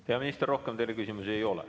Hea minister, rohkem teile küsimusi ei ole.